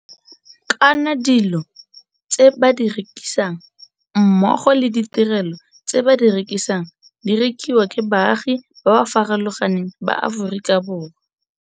Kana dilo tse ba di rekisang mmogo le ditirelo tse ba di rekisang di rekiwa ke baagi ba ba farologa neng ba Aforika Borwa.